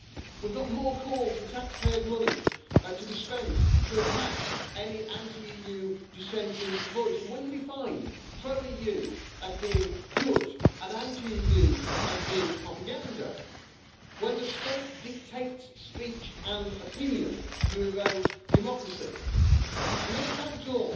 We've got more calls for taxpayers' money to be spent to attack any anti-EU dissenting voice. And when you define pro-EU as being good and anti-EU as being propaganda, when the state dictates speech and opinion, you erode democracy. And then to cap it all,